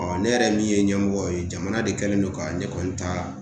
ne yɛrɛ min ye ɲɛmɔgɔ ye jamana de kɛlen don ka ne kɔni ta